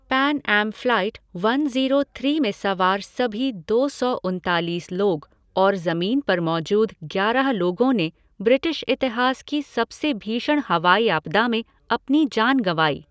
Pan Am flight one zero three में सवार सभीदो सौ उनतालीस लोग और ज़मीन पर मौजूद ग्यारह लोगों ने ब्रिटिश इतिहास की सबसे भीषण हवाई आपदा में अपनी जान गँवाई।